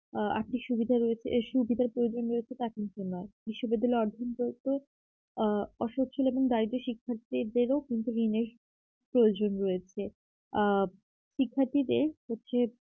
আ আর্থিক সুবিধা রয়েছে এই সুবিধার প্রয়োজনীয়তাটা এখনই শুনলাম এই সুবিধা গুলা অর্জন করতে আ অসচ্ছল এবং দারিদ্র শিক্ষার্থীদেরও কিন্তু দিনে প্রয়োজন রয়েছে আ শিক্ষার্থীদের হচ্ছে